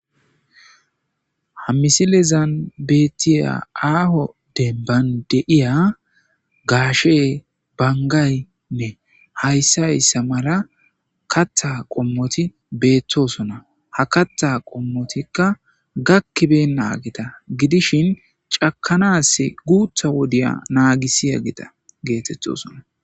ha misilezan bettiya aaho debban deiya gaashe bangaynne hayssa y ssamara katha qommoti beettosona ha kattha qommotikka gakkibe naageta gidishin cakanaas guutha wodiya naagisiya gita geetettosona